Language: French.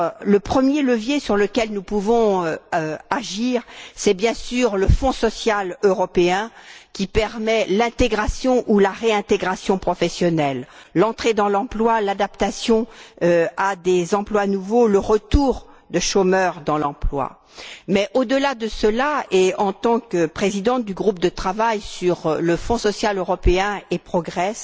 Le premier levier sur lequel nous pouvons agir est, bien sûr, le Fonds social européen, qui permet l'intégration ou la réintégration professionnelle, l'entrée dans l'emploi, l'adaptation à des emplois nouveaux, le retour de chômeurs dans l'emploi. Mais au delà et, en tant que présidente du groupe de travail sur le Fonds social européen et Progress